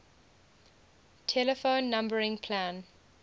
telephone numbering plan